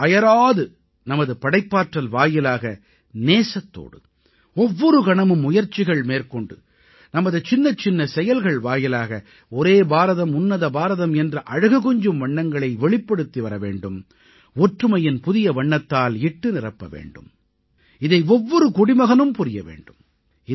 நாம் அயராது நமது படைப்பாற்றல் வாயிலாக நேசத்தோடு ஒவ்வொரு கணமும் முயற்சிகள் மேற்கொண்டு நமது சின்னச்சின்ன செயல்கள் வாயிலாக ஒரே பாரதம் உன்னத பாரதம் என்ற அழகு கொஞ்சும் வண்ணங்களை வெளிப்படுத்திவர வேண்டும் ஒற்றுமையின் புதிய வண்ணத்தால் இட்டுநிரப்ப வேண்டும் இதை ஒவ்வொரு குடிமகனும் புரிய வேண்டும்